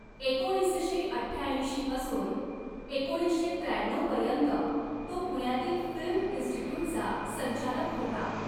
एकोणीसशे अठ्ठ्याऐंशीपासून एकोणीसशे त्र्याण्णऊ पर्यंत तो पुण्यातील फिल्म इन्स्टिट्यूटचा संचालक होता.